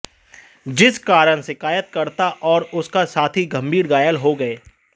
जिस कारण शिकायतकर्ता और उसका साथी गंभीर घायल हो गये